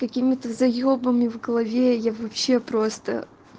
какими-то заёбами в голове я вообще просто